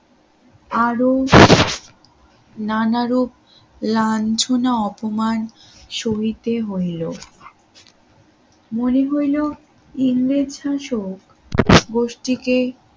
আরো নানারূপ লাঞ্ছনা অপমান সহিতে হইল। মনে হইল ইংরেজ শাসক গোষ্ঠীকে